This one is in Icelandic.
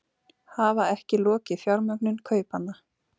Hafa ekki lokið fjármögnun kaupanna